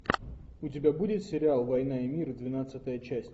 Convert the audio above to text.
у тебя будет сериал война и мир двенадцатая часть